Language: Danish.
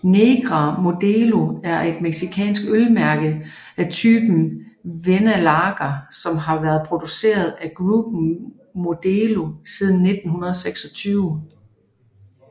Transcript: Negra Modelo er et mexicansk øl mærke af typen Vienna lager som har vært produceret af Grupo Modelo siden 1926